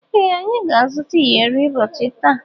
Ee anyị ga-azuta iyori ụbọchị taa.